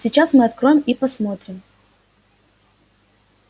сейчас мы откроем и посмотрим